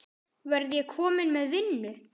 Verð ég kominn með vinnu?